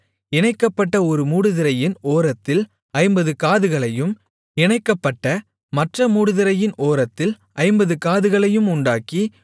இணைக்கப்பட்ட ஒரு மூடுதிரையின் ஓரத்தில் ஐம்பது காதுகளையும் இணைக்கப்பட்ட மற்ற மூடுதிரையின் ஓரத்தில் ஐம்பது காதுகளையும் உண்டாக்கி